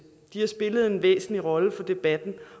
de har spillet en væsentlig rolle for debatten